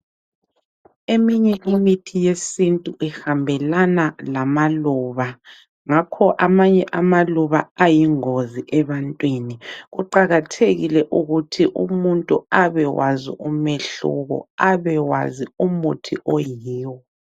Eminye imithi yesintu ihambelana lamaluba ngakho amanye amaluba ayingozi ebantwini kuqakathekile ukuthi umuntu abewazi umehluko abewazi umuthi oyiwo.